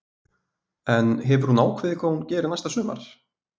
En hefur hún ákveðið hvað hún gerir næsta sumar?